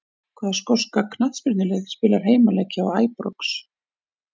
Hvaða skoska knattspyrnulið spilar heimaleiki á Æbrox?